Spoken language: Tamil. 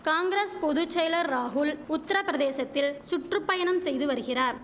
காங்கிரஸ் பொது செயலர் ராகுல் உத்திரபிரதேசத்தில் சுற்று பயணம் செய்துவருகிறார்